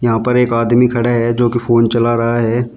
यहां पर एक आदमी खड़ा है जो कि फोन चला रहा है।